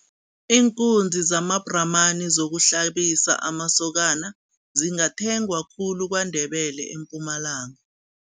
Iinkunzi zamabhramani zokuhlabisa amasokana zingathengwa khulu kwaNdebele, eMpumalanga.